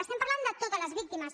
estem parlant de totes les víctimes